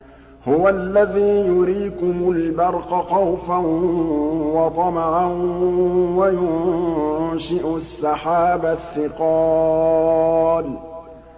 هُوَ الَّذِي يُرِيكُمُ الْبَرْقَ خَوْفًا وَطَمَعًا وَيُنشِئُ السَّحَابَ الثِّقَالَ